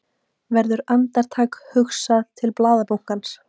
Verður andartak hugsað til blaðabunkans.